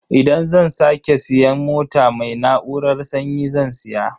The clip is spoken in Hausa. Idan zan sake siyan mota, mai na'urar sanyi zan siya.